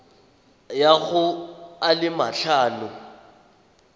ya go a le matlhano